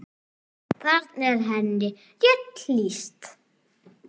Þarna er henni rétt lýst.